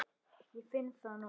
Ég finn það núna.